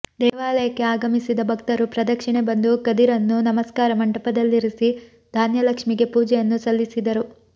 ದೇವಾಲಯಕ್ಕೆ ಆಗಮಿಸಿದ ಭಕ್ತರು ಪ್ರದಕ್ಷಿಣೆ ಬಂದು ಕದಿರನ್ನು ನಮಸ್ಕಾರ ಮಂಟಪದಲ್ಲಿರಿಸಿ ಧಾನ್ಯಲಕ್ಷ್ಮಿಗೆ ಪೂಜೆಯನ್ನು ಸಲ್ಲಿಸಿದರು